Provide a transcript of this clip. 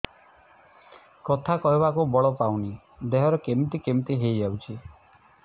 କଥା କହିବାକୁ ବଳ ପାଉନି ଦେହ କେମିତି କେମିତି ହେଇଯାଉଛି